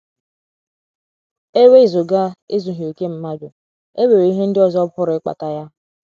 E wezụga ezughị okè mmadụ, e nwere ihe ndị ọzọ pụrụ ịkpata ya.